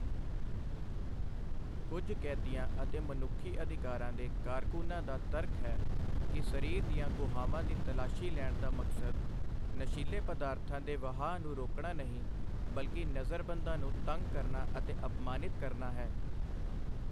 ਕੁਝ ਕੈਦੀਆਂ ਅਤੇ ਮਨੁੱਖੀ ਅਧਿਕਾਰਾਂ ਦੇ ਕਾਰਕੁਨਾਂ ਦਾ ਤਰਕ ਹੈ ਕਿ ਸਰੀਰ ਦੀਆਂ ਗੁਹਾਵਾਂ ਦੀ ਤਲਾਸ਼ੀ ਲੈਣ ਦਾ ਮਕਸਦ ਨਸ਼ੀਲੇ ਪਦਾਰਥਾਂ ਦੇ ਵਹਾਅ ਨੂੰ ਰੋਕਣਾ ਨਹੀਂ, ਬਲਕਿ ਨਜ਼ਰਬੰਦਾਂ ਨੂੰ ਤੰਗ ਕਰਨਾ ਅਤੇ ਅਪਮਾਨਿਤ ਕਰਨਾ ਹੈ।